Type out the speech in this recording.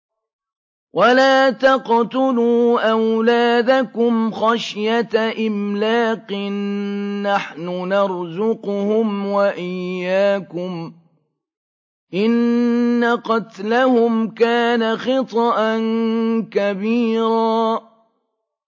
وَلَا تَقْتُلُوا أَوْلَادَكُمْ خَشْيَةَ إِمْلَاقٍ ۖ نَّحْنُ نَرْزُقُهُمْ وَإِيَّاكُمْ ۚ إِنَّ قَتْلَهُمْ كَانَ خِطْئًا كَبِيرًا